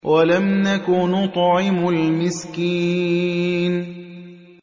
وَلَمْ نَكُ نُطْعِمُ الْمِسْكِينَ